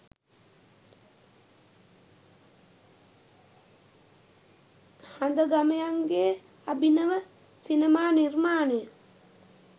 හඳගමයන්ගේ අභිනව සිනමා නිර්මාණය